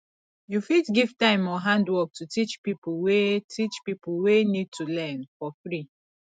you fit give time or handwork to teach pipo wey teach pipo wey need to learn for free